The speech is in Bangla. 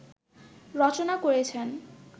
রচনা করেছেন